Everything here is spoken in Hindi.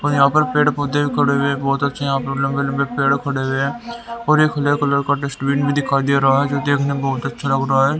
और यहां पर पेड़ पौधे भी खड़े हुए बहुत अच्छे यहां पर लंबे-लंबे पेड़ खड़े हुए हैं और एक पीला कलर का डस्टबिन भी दिखाई दे रहा है जो देखने में बहुत अच्छा लग रहा है।